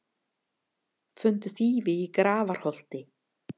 Fundu þýfi í Grafarholti